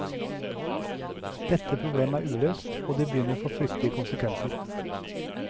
Dette problemet er uløst, og det begynner å få fryktelige konsekvenser.